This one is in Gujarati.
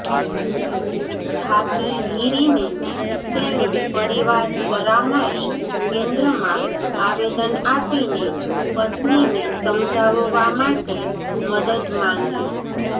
થાકી હીરીને તેણે પરિવાર પરામર્શ કેન્દ્રમાં આવેદન આપીને પત્નીને સમજાવવા માટે મદદ માંગી